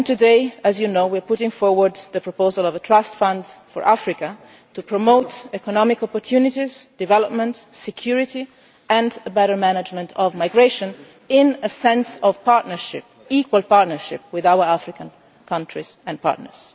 Today, as you know, we are putting forward a proposal for a trust fund for Africa to promote economic opportunities, development, security and better management of migration in a context of equal partnership with the African countries and our partners.